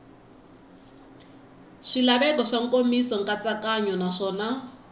swilaveko swa nkomiso nkatsakanyo naswona